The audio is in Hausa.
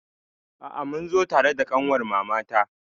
A'a, mun zo tare da ƙanwar mamata.